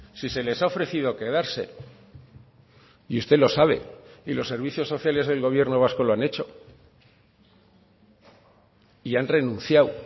si se les ha ofrecido quedarse y usted lo sabe y los servicios sociales del gobierno vasco lo han hecho y han renunciado